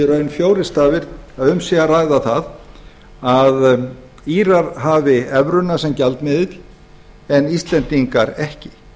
raun fjórir stafir að um sé að ræða það að írar hafi evruna sem gjaldmiðil en íslendingar ekki þess